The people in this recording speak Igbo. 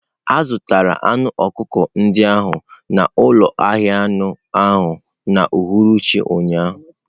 A zụtara anụ ọkụkọ ndị ahụ n'ụlọ ahịa anụ ahụ n'uhuruchi ụnyaahụ.